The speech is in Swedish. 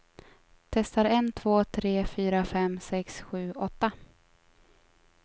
Testar en två tre fyra fem sex sju åtta.